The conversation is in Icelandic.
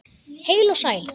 Heil og sæl!